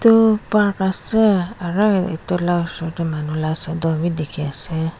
etu park ase aru e etu la manu la shadow b dikhi ase.